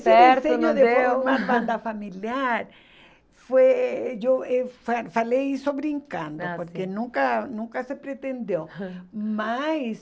certo, não deu... Esse desejo de formar banda familiar, foi eu fa falei só brincando, ah sim, porque nunca nunca se pretendeu, mas